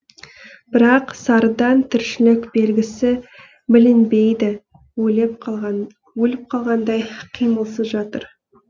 бірақ сарыдан тіршілік белгісі білінбейді өліп қалғандай қимылсыз жатыр